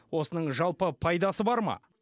осының жалпы пайдасы бар ма